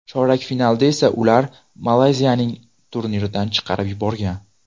Chorak finalda esa ular Malayziyani turnirdan chiqarib yuborgan.